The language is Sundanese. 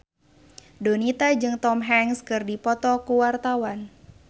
Donita jeung Tom Hanks keur dipoto ku wartawan